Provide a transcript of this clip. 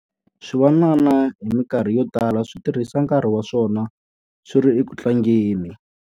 Swivanana hi mikarhi yo tala swi tirhisa nkarhi wa swona swi ri eku tlangeni.